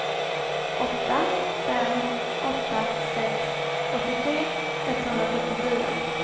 åtta fem åtta sex åttiotre etthundrasjuttiofyra